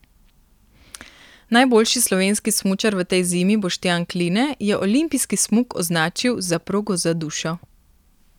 Najboljši slovenski smučar v tej zimi Boštjan Kline je olimpijski smuk označil za progo za dušo.